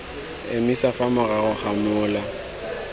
emisa fa morago ga mola